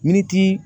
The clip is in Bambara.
Miniti